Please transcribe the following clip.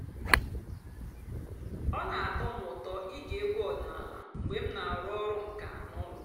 ọ́ nà-àtọ́ m ụ́tọ́ íge ègwú ọ̀dị́náàlà mg̀bé m nà-àrụ́ ọ̀rụ́ ǹká n'ụ́lọ́.